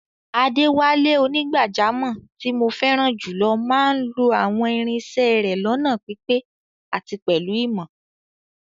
Adewale, onígbàjámọ̀ tí mo fẹ́ràn jùlọ máa ń lo àwọn irin isẹ́ rẹ̀ lọ́nà pípé àti pẹ̀lú ìmọ̀.